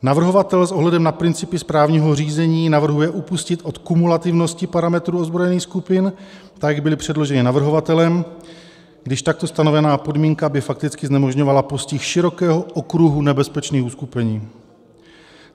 Navrhovatel s ohledem na principy správního řízení navrhuje upustit od kumulativnosti parametrů ozbrojených skupin, tak jak byly předloženy navrhovatelem, když takto stanovená podmínka by fakticky znemožňovala postih širokého okruhu nebezpečných uskupení.